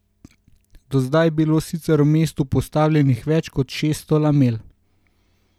Do zdaj je bilo sicer v mestu postavljenih več kot šeststo lamel.